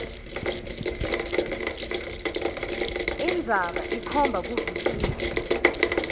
indzaba ikhomba kuvisisa